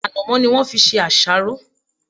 Ànàmó ni won fi se àsáró